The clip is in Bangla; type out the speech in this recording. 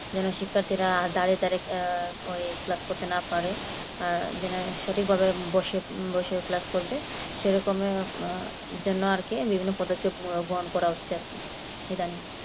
শিক্ষার্থীরা দাঁড়িয়ে দাঁড়িয়ে ওই করতে না পারে যেন সঠিকভাবে বসে বসে class করবে সে রকমই জন্য আর কি বিভিন্ন পদক্ষেপ গ্রহণ করা হচ্ছে আর কি eitherning